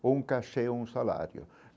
ou um cachê ou um salário.